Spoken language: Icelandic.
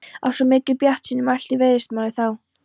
Af svo mikilli bjartsýni mælti veiðimálastjóri þá.